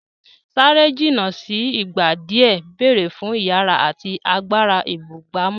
Sáré jìnnà sí ìgbà díẹ̀ ń béèrè fún ìyára àti agbára ìbúgbàmù.